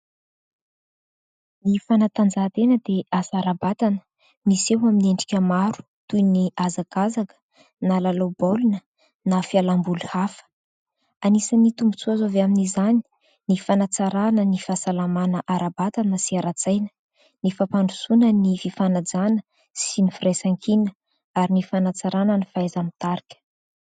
Ny fanatanjahantena dia asa ara-batana miseho amin'ny endrika maro toy ny hazakazaka na lalao baolina na fialam-boly hafa. Anisany tombon-tsoa azo avy amin'izany ny fanatsarana ny fahasalamana ara-batana sy ara-tsaina, ny fampandrosoana ny fifanajana sy ny firaisan-kina ary ny fanatsarana ny fahaiza-mitarika.